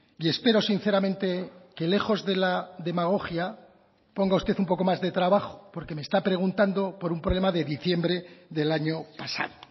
y espero sinceramente que lejos de la demagogia ponga usted un poco más de trabajo porque me está preguntando por un problema de diciembre del año pasado